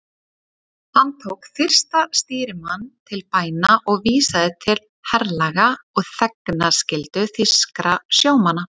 Hann tók fyrsta stýrimann til bæna og vísaði til herlaga og þegnskyldu þýskra sjómanna.